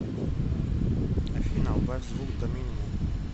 афина убавь звук до минимума